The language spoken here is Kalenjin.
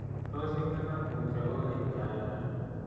Tos ingalal mutyo kogeny gaigai